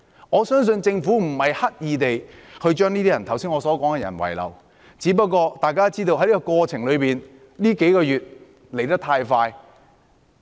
我相信政府不是刻意將我剛才所說的那些人遺漏，只是大家都知道，這數個月發生的事情來得太快。